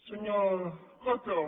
senyor coto